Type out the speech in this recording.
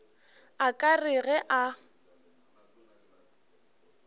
a ka re ge a